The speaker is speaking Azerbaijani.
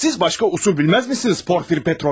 Siz başka usul bilmez misiniz Porfir Petroviç?